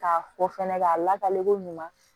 K'a fɔ fɛnɛ k'a lakale ko ɲuman